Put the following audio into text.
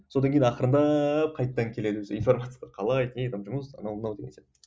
содан кейін ақырындап қайтадан келеміз информацияға қалай не там жұмыс анау мынау деген сияқты